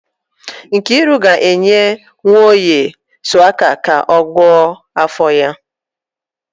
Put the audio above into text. Nkiru ga-enye Nwoye shuwaka ka ọ gwọọ afọ ya